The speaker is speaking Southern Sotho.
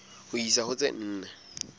ho isa ho tse nne